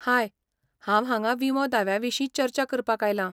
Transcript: हाय, हांव हांगा विमो दाव्या विशीं चर्चा करपाक आयलां.